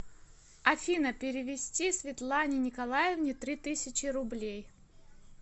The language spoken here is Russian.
афина перевести светлане николаевне три тысячи рублей